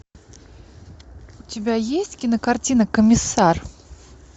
у тебя есть кинокартина комиссар